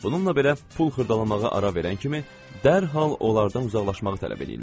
Bununla belə pul xırdalamağa ara verən kimi dərhal onlardan uzaqlaşmağı tələb eləyirlər.